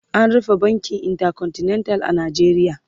an rufe bankin intercontinental a Najeriya